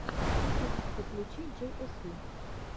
ютюб подключи джей эс ви